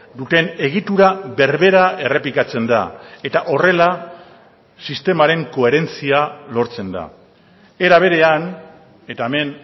duten egitura berbera errepikatzen da eta horrela sistemaren koherentzia lortzen da era berean eta hemen